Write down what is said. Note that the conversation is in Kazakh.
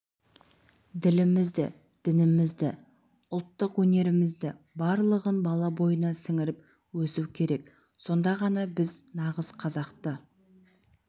ділімізді дінімізді ұлттық өнерімізді барлығын бала бойына сіңіріп өсу керек сонда ғана біз нағыз қазақты